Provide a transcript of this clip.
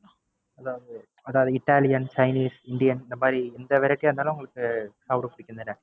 அதாவது Italian, Chinese, Indian இந்த மாதிரி எந்த Variety இருந்தாதான் உங்களுக்கு சாப்ட பிடிக்கும் தான?